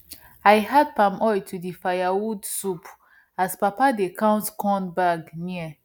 i add palm oil to di firewood soup as papa dey count corn bag near